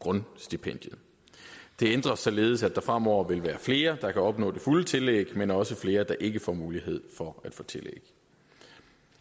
grundstipendiet det ændres således at der fremover vil være flere der kan opnå det fulde tillæg men også være flere der ikke får mulighed for at få tillæg